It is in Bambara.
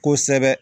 Kosɛbɛ